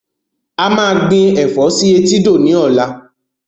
A máa gbìn Ẹ̀fọ́ sì etídò ni ọ̀la